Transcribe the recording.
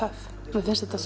mér finnst þetta